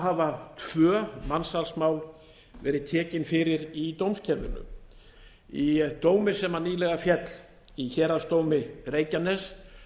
hafa tvö mansalsmál verið tekin fyrir í dómskerfinu í dómi sem nýlega féll í héraðsdómi reykjaness